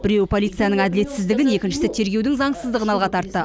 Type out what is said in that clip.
біреуі полицияның әділетсіздігін екіншісі тергеудің заңсыздығын алға тартты